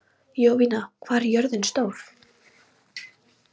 Jovina, hvað er jörðin stór?